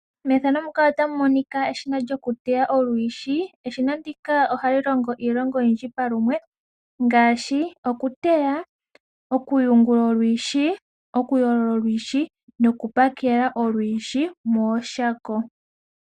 Methano muka otamu monika eshina lyo ku teya olwiishi. Eshina ndika ohali longo iilonga oyidji pa lumwe ngaashi: oku teya, oku yungula olwiishi, oku yoo lola olwiishi no kubpakela olwiishi mooshako.